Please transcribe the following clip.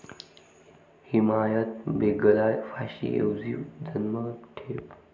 हिमायत बेगला फाशी ऐवजी जन्मठेप